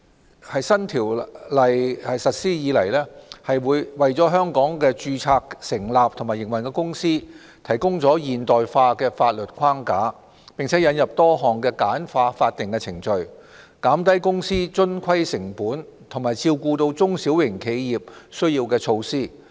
新《公司條例》自實施以來，為在香港註冊成立和營運的公司提供現代化的法律框架，並引入多項簡化法定程序、減低公司遵規成本和照顧中小型企業需要的措施。